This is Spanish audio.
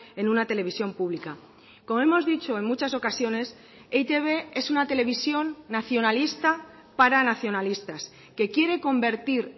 en una televisión pública como hemos dicho en muchas ocasiones e i te be es una televisión nacionalista para nacionalistas que quiere convertir